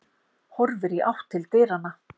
Horfir í átt til dyranna.